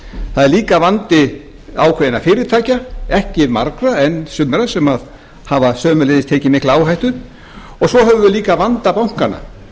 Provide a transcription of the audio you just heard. það er líka vandi ákveðinna fyrirtækja ekki margra en sumra sem hafa sömuleiðis tekið mikla áhættu og svo höfum við líka vanda bankanna